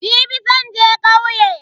Jibi zan je kauye.